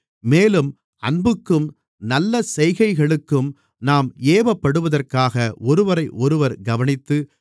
மேலும் அன்புக்கும் நல்ல செய்கைகளுக்கும் நாம் ஏவப்படுவதற்காக ஒருவரையொருவர் கவனித்து